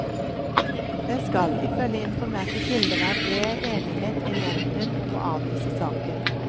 Det skal, ifølge informerte kilder, være bred enighet i nevnden om å avvise saken.